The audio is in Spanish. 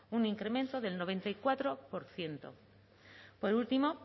un incremento del noventa y cuatro por ciento por último